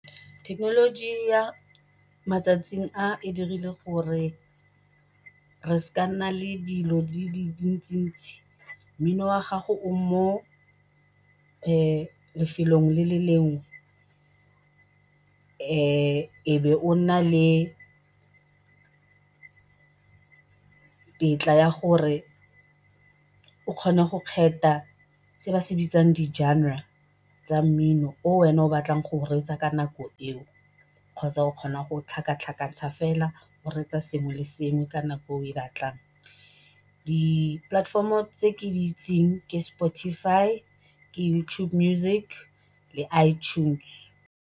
Thekenoloji ya matsatsing a e dirile gore re nna le dilo mmino wa gago o mo lefelong le le lengwe e o be o nna le tletla ya gore o kgone go kgetha se ba se bitsang di genre tsa mmino o wena o batlang go reetsa ka nako eo, kgotsa o kgona go tlhakatlhakantsha fela o reetsa sengwe le sengwe ka nako e o e batlang. Di-platform tse ke di itseng ke Spotify, ke YouTube music le iTunes.